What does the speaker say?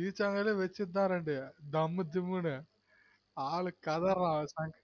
பீச்சாங்கைலெ வைச்சந்தன் ரெண்டு டம்மு டிம்முனு ஆளு கதற்றான்